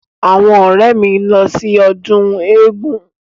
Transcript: Àwọn ọ̀rẹ́ mi ni ó ń lọ sí ọdún eégun.